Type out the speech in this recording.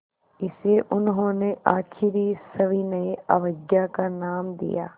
इसे उन्होंने आख़िरी सविनय अवज्ञा का नाम दिया